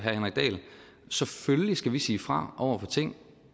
selvfølgelig skal sige fra over for ting